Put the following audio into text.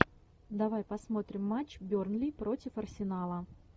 давай посмотрим матч бернли против арсенала